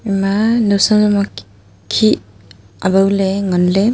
ema naosa hukhI awao le ngan le.